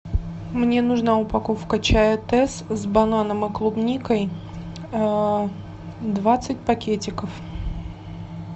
мне нужна упаковка чая тесс с бананом и клубникой двадцать пакетиков